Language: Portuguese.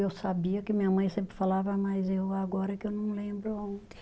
Eu sabia que minha mãe sempre falava, mas eu agora que eu não lembro onde.